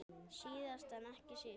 Síðast en ekki síst.